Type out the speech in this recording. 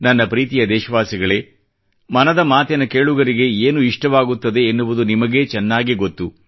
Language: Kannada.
ನನ್ನ ಪ್ರೀತಿಯ ದೇಶವಾಸಿಗಳೇ ಮನದ ಮಾತಿನ ಕೇಳುಗರಿಗೆ ಏನು ಇಷ್ಟವಾಗುತ್ತದೆ ಎನ್ನುವುದು ನಿಮಗೇ ಚೆನ್ನಾಗಿ ಗೊತ್ತು